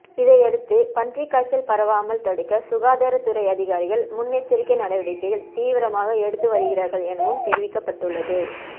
இதையடுத்து பன்றிக் காய்ச்சல் பரவாமல் தடுக்க சுகாதாரத்துறை அதிகாரிகள் முன்எச்சரிக்கை நடவடிக்கைகள் தீவிரமாக எடுத்து வருகிறார்கள் எனவும் தெரிவிக்கப்பட்டுள்ளது